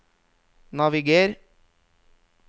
naviger